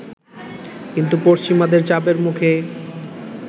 কিন্তু পশ্চিমাদের চাপের মুখে